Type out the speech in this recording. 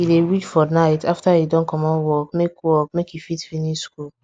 e dey read for night after e don comot work make work make e fit finish school